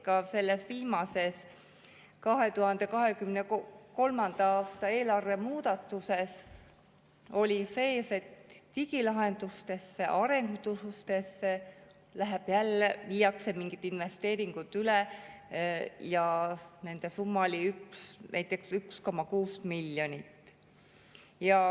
Ka selles viimases 2023. aasta eelarve muudatuses oli sees, et digilahenduste arendustesse läheb jälle, viiakse mingid investeeringud üle ja nende summa oli näiteks 1,6 miljonit.